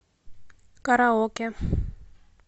караоке